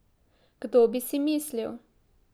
Kdo bi si mislil?